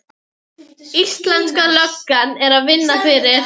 Íslenska löggan er að vinna fyrir